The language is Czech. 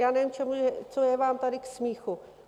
Já nevím, co je vám tady k smíchu.